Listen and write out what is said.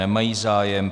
Nemají zájem.